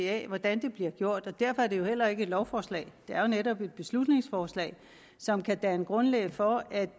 af hvordan det bliver gjort og derfor er det heller ikke et lovforslag det er jo netop et beslutningsforslag som kan danne grundlag for at